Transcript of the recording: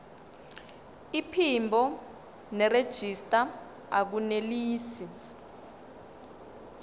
iphimbo nerejista akunelisi